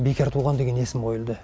бекертуған деген есім қойылды